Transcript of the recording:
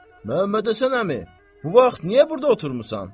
Məmmədhəsən əmi, bu vaxt niyə burda oturmusan?